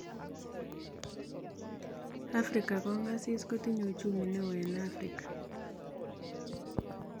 Afrika kongasis kotinye Uchumi neo en afrika